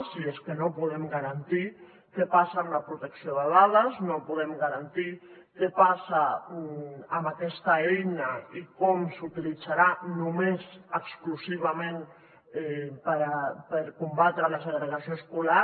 i és que no podem garantir què passa amb la protecció de dades no podem garantir què passa amb aquesta eina i com s’utilitzarà només exclusivament per combatre la segregació escolar